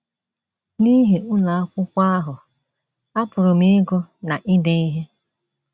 N’ihi ụlọ akwụkwọ ahụ, apụrụ m ịgụ na ide ihe. ”